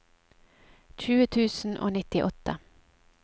tjue tusen og nittiåtte